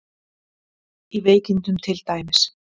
Í veikindum til dæmis.